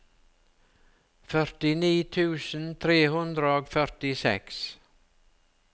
førtini tusen tre hundre og førtiseks